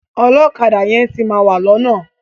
Ọlọ́kadà yẹn ti máa wà lọ́nà.